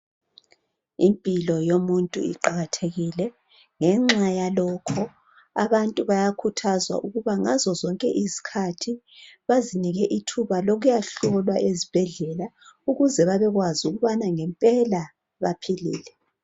Impilo yomuntu iqakathekile ngenxa yalokho. abantu bayakhuthazwa ukuba ngazo zonke izikhathi baziphe ithuba lokuya hlolwa ezibhedlela ukuze babekwazi ukubana ngempela baphilile.